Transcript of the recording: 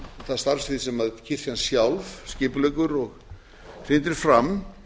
það starfssvið sem kirkjan sjálf skipuleggur og hrindir fram